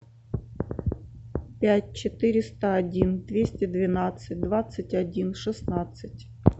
пять четыреста один двести двенадцать двадцать один шестнадцать